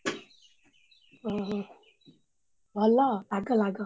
ଓହୋ ଭଲ ଲାଗ ଲାଗ।